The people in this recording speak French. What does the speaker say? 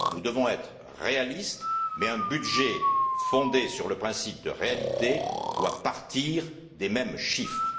Nous devons être réalistes mais un budget fondé sur le principe de réalité doit partir des mêmes chiffres.